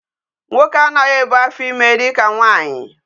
Nwoke anaghi ebu afo ime dika nwaanyì.